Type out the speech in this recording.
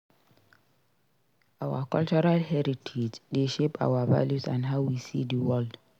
Our cultural heritage dey shape our values and how we see di world.